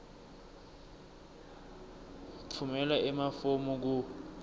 tfumela emafomu ku